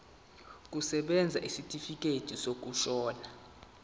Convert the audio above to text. kusebenza isitifikedi sokushona